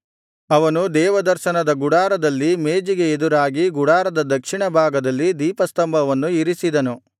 ಅವನು ದೇವದರ್ಶನದ ಗುಡಾರದಲ್ಲಿ ಮೇಜಿಗೆ ಎದುರಾಗಿ ಗುಡಾರದ ದಕ್ಷಿಣ ಭಾಗದಲ್ಲಿ ದೀಪಸ್ತಂಭವನ್ನು ಇರಿಸಿದನು